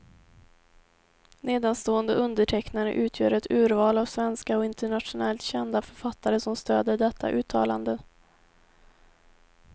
Nedanstående undertecknare utgör ett urval av svenska och internationellt kända författare som stöder detta uttalande.